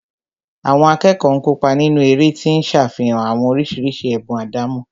Àwọn akẹ́kọ̀ọ́ ń kópa nínú eré tí ń ṣàfihàn àwọn oríṣiríṣi ẹ̀bùn àdámọ́